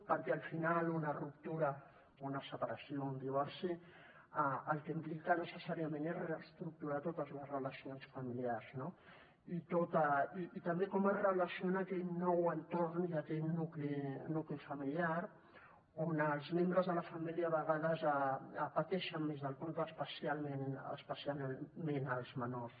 perquè al final una ruptura una separació o un divorci el que implica necessàriament és reestructurar totes les relacions familiars no i també com es relaciona aquell nou entorn i aquell nucli familiar on els membres de la família a vegades pateixen més del compte especialment els menors